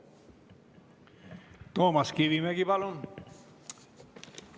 Toomas Kivimägi, palun!